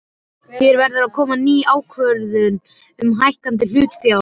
Hér verður að koma til ný ákvörðun um hækkun hlutafjár.